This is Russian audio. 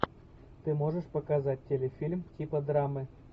ты можешь показать телефильм типа драмы